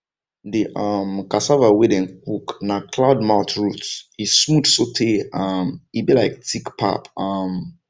the um cassava wey dem cook na cloud mouth root e smooth sotay um e be like thick pap um